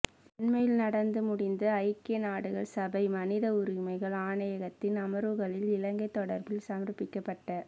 அண்மையில் நடந்து முடிந்த ஐக்கிய நாடுகள் சபை மனித உரிமைகள் ஆணையகத்தின் அமர்வுகளில் இலங்கை தொடர்பில் சமர்ப்பிக்கப்பட்ட